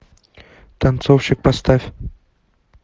танцовщик поставь